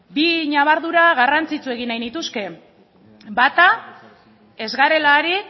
bi ñabardura garrantzitsu egin nahi nituzke bata ez garela ari